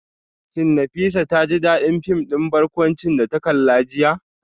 Shin Nafisa ta ji dadin fim din barkwanci da ta kalla jiya?